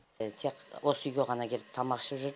тек осы үйге ғана келіп тамақ ішіп жүр